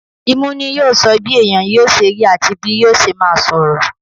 Imú ni yóò sọ bí èèyàn yóò sẹ rí àti bí yóò ṣe máa sọ̀rọ̀.